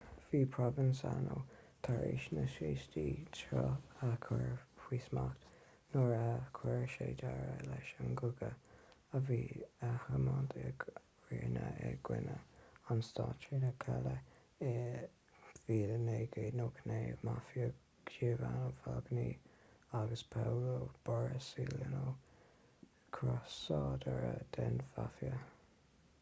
bhí provenzano tar éis na saoistí seo a chur faoi smacht nuair a chuir sé deireadh leis an gcogadh a bhí á thiomáint ag riina i gcoinne an stáit trínar cailleadh i 1992 mafia giovanni falcone agus paolo borsellino crosáidirí den mhaifia